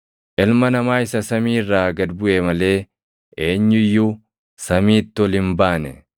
Ilma Namaa isa samii irraa gad buʼe malee eenyu iyyuu samiitti ol hin baane.